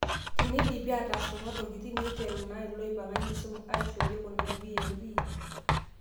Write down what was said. Teneidipi atas kuna tokiting', neiteru naa iloipanga enkisuma aishooyio kuna VLE